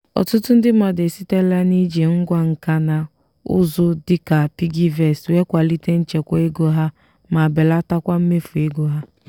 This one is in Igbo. ọtụtụ mmadụ esitela n'iji ngwá nka na ụzụ dịka piggyvest wee kwalite nchekwa ego ha ma belatakwa mmefu ego ha.